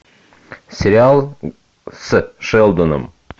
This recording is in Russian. сериал с шелдоном